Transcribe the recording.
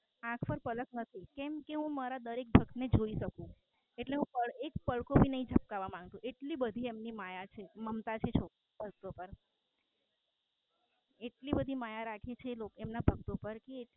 આંખ પર પાલક નથી કેમ કે હું મારા દરેક ભક્ત ને જોઈ શકું એટલી બધી માયા રાખી છે એમના શબ્દો પાર